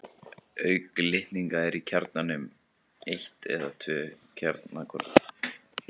Auk litninga eru í kjarnanum eitt eða tvö kjarnakorn.